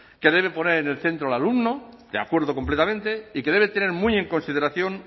que debe poner en el centro al alumno de acuerdo completamente y que debe tener muy en consideración